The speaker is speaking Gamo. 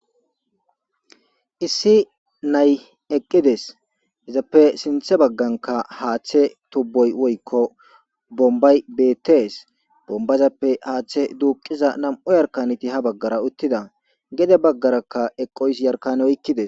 issi nay eqqides izappe sinthe bagganka haaththe tubboy woykko bombay beettees bombazappe haaththe duuqiza nam7u yarkaniti ha baggara uttida gede baggarakka eqqoys yarkan oykkides